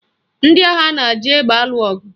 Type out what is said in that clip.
Ndị agha na-eji egbe alụ ọgụ